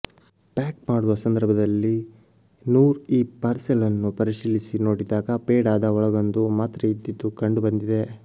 pack ಮಾಡುವ ಸಂದರ್ಭದಲ್ಲಿ ನೂರ್ ಈ ಪಾರ್ಸೆಲ್ ಅನ್ನು ಪರಿಶೀಲಿಸಿ ನೋಡಿದಾಗ ಪೇಡಾದ ಒಳಗೊಂದು ಮಾತ್ರೆಯಿದ್ದದ್ದು ಕಂಡುಬಂದಿದೆ